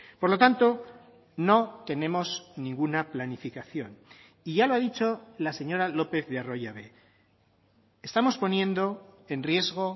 por lo tanto no tenemos ninguna planificación y ya lo ha dicho la señora lopez de arroyabe estamos poniendo en riesgo